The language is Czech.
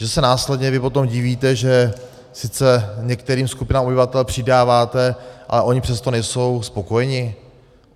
Že se následně vy potom divíte, že sice některým skupinám obyvatel přidáváte, ale oni přesto nejsou spokojeni?